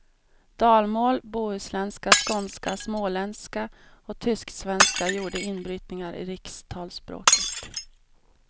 Dalmål, bohuslänska, skånska, småländska och tysksvenska gjorde inbrytningar i rikstalsspråket.